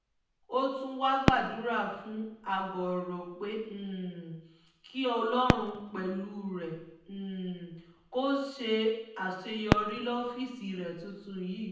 ó tún wáá gbàdúrà fún àgọ́rọ̀ pé um kí ọlọ́run pẹ̀lú rẹ̀ um kó sì ṣe àṣeyọrí lọ́fíìsì rẹ tuntun yìí